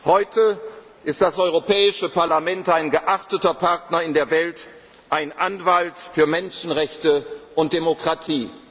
gewesen. Heute ist das Europäische Parlament ein geachteter Partner in der Welt, ein Anwalt für Menschenrechte und Demokratie.